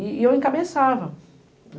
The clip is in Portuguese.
E eu encabeçava.